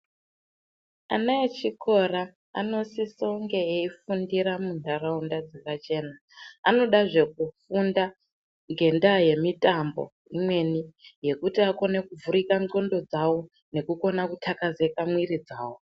Ana echikora anosise kunge eifundira munharaunda dzakachena anodazve kufunda ngendaya yemitambo imweni yekuti akone kuvhurika ndxondo dzawo nekukona kuthakazika mwiri dzawo.